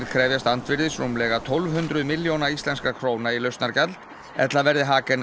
krefjast andvirðis rúmlega tólf hundruð milljóna íslenskra króna í lausnargjald ella verði